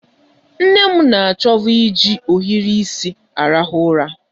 Nne m na achovu iji ohiri isi arahụ ụra.